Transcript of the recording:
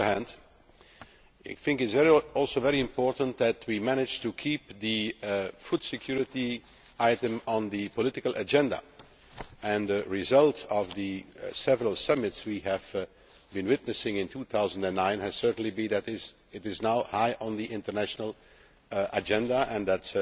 On the other hand, I think it is also very important that we managed to keep the food security item on the political agenda and the result of the several summits we have been witnessing in 2009 has certainly been that it is now high on the international agenda and that,